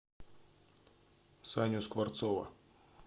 саню скворцова